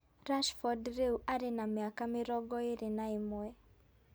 Rashford rĩu arĩ na mĩaka mĩrongo ĩĩrĩ na ĩmwe